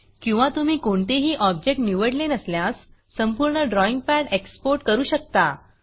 किंवा तुम्ही कोणतेही ऑब्जेक्ट निवडले नसल्यास संपूर्ण ड्रॉईंग पॅड exportएक्सपोर्ट करू शकता